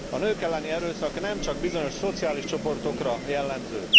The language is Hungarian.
A nők elleni erőszak nem csak bizonyos szociális csoportokra jellemző.